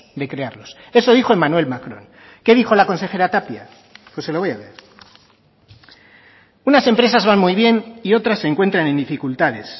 de crearlos eso dijo emmanuel macron qué dijo la consejera tapia se lo voy a leer unas empresas van muy bien y otras se encuentran en dificultades